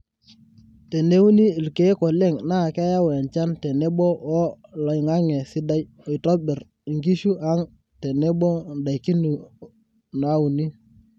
teneuni ilkiek oleng na keyau enchan tenebo woo loingange sidai oitobir nkishu ang tenebo ndaiki nauni